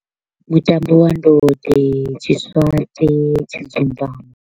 Mutambo wa ndode, tshiswaṱe, tshidzumbamo.